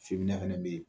Fina fɛnɛ be yen